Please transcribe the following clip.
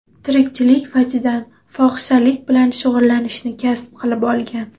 tirikchilik vajidan fohishalik bilan shug‘ullanishni kasb qilib olgan.